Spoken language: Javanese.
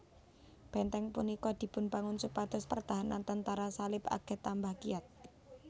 Benteng punika dipunbangun supados pertahanan tentara Salib aget tambah kiyat